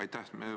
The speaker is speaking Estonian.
Aitäh!